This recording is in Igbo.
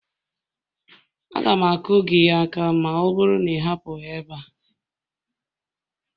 Aga m akụ gị aka ma ọ bụrụ na ị hapụghị ebe a